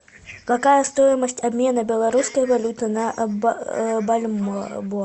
какая стоимость обмена белорусской валюты на бальбоа